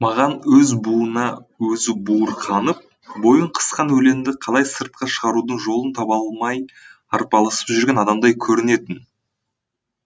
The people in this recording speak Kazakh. маған өз буына өзі буырқанып бойын қысқан өлеңді қалай сыртқа шығарудың жолын таба алмай арпалысып жүрген адамдай көрінетін